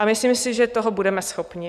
A myslím si, že toho budeme schopni.